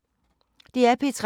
DR P3